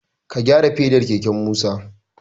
Ka gyara fedar keken Musa!